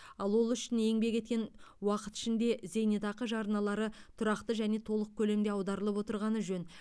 ал ол үшін еңбек еткен уақыт ішінде зейнетақы жарналары тұрақты және толық көлемде аударылып отырғаны жөн